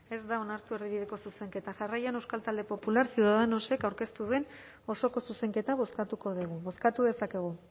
ez da onartu erdibideko zuzenketa jarraian euskal talde popular ciudadanosek aurkeztu duen osoko zuzenketa bozkatuko dugu bozkatu dezakegu